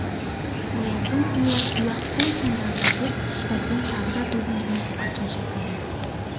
ояздың үйі үй-ақ қой сондағы деп сәбден тағы да көзін жұмып басын шайқады